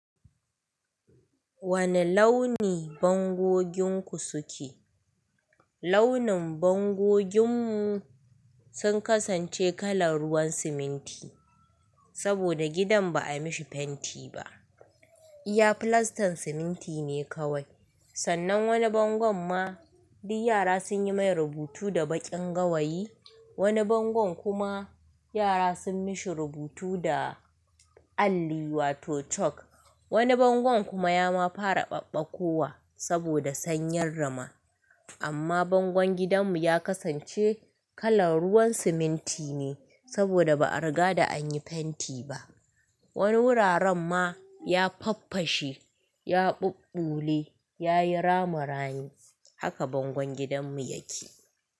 Wane launi bangoginku suke? Launin bangoginmu sun kasance kalar ruwan siminti, saboda gidan ba a mishi fenti ba. Iya filastan siminti ne kawai. Sannan wani bango ma duk yara sun yi mai rubutu da baƙin gawayi, wani bango kuma yara sun mishi rubutu da alli wato chalk. Wani bango kuma ya ma fara ɓaɓɓakowa saboda sanyar rama. Amma bangon gidanmu ya kasance kalar ruwan siminti ne saboda ba a riga da an yi fenti ba. Wani wuraren ma ya faffashe, ya ɓuɓɓule, ya yi rama rani. Haka bangon gidanmu yake.